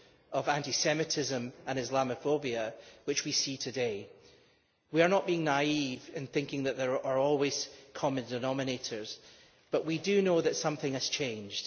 of anti-Semitism and Islamophobia, which we see today. We are not being naive in thinking that there are always common denominators, but we do know that something has changed.